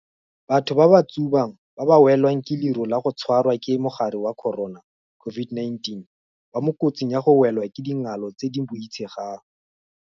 Batho ba ba tsubang ba ba welwang ke leru la go tshwarwa ke mogare wa corona, COVID-19, ba mo kotsing ya go welwa ke dingalo tse di boitshegang.